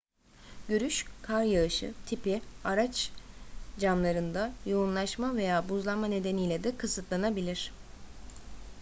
görüş kar yağışı tipi araç camlarında yoğunlaşma veya buzlanma nedeniyle de kısıtlanabilir